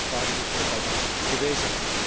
Daniel Caspary heeft er ook al naar verwezen.